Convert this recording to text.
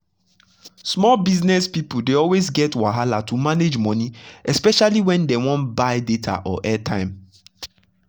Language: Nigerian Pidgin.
small business people dey always get wahala to manage money especially when dem wan buy data or airtime.